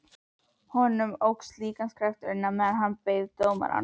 Honum óx líkamskraftur meðan hann beið dómarans.